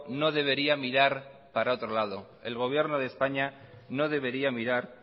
no debería mirar para otro lado el gobierno de españa no debería mirar